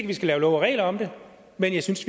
vi skal lave love og regler om det men jeg synes